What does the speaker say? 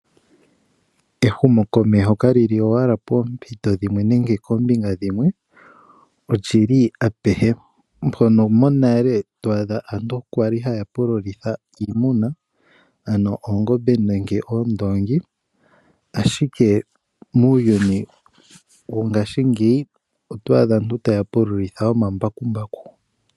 Ehumokomeho kali li owala poompito dhimwe nenge koombinga dhimwe, ihe olyi li apehe. Monale aantu oya li haa pululitha oongombe nenge oondoongi ihe mongaashingeyi aantu ohaa pululitha omambakumbaku.